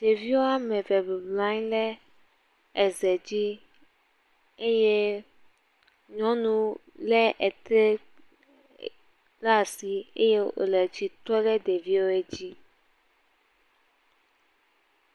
Ɖevi woame eve bɔbɔnɔ anyi le eze zi eye nyɔnu lé etre la si eye wòle tsitrɔ le ɖeviewe dzi.